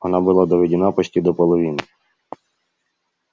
она была доведена почти до половины